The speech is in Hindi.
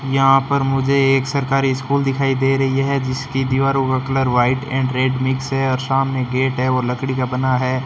यहां पर मुझे एक सरकारी स्कूल दिखाई दे रही है जिसकी दीवारों का colour white and red mix है और सामने गेट है और लकड़ी का बना है।